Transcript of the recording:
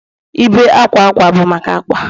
Ibé akwa akwa bụ maka akwa